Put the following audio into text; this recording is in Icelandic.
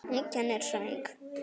Hún kennir söng.